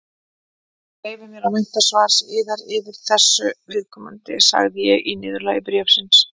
Ég leyfi mér að vænta svars yðar þessu viðkomandi, sagði ég í niðurlagi bréfsins.